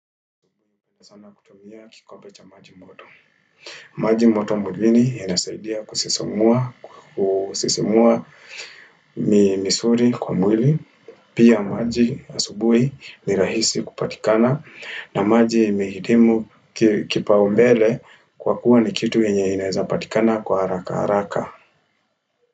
Kama kutumia kikombe cha maji moto. Maji moto mwilini inasaidia kusisimua kusisimua mi misuri kwa mwili. Pia maji asubui ni rahisi kupatikana. Na maji imehikimu ki kipao mbele kwa kuwa ni kitu yenye inaeza patikana kwa haraka haraka.